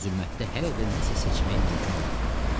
Zülmətdə hələ də nəsə seçmək mümkün olmurdu.